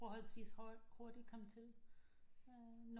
Forholdsvist hurtigt komme til